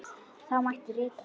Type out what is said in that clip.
Þá mætti rita